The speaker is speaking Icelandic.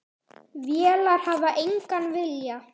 Vélar hafa engan vilja.